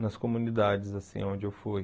nas comunidades, assim, onde eu fui.